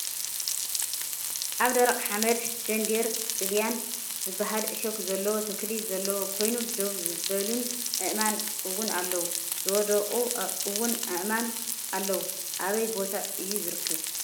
ኣብ ደረቅ ሓመድ ደንዴር ጥልያን ዝብሃል ዕሾክ ዘለዎ ተክሊ ዘለዎ ኮይኑ ደው ዝበሉን ኣእማን እውን ኣለው ። ዝወደቁን እውን ኣእማን ኣለው ።ኣበይ ቦታ እዩ ዝርከብ?